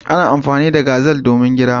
Ana amfani da gazal don gira.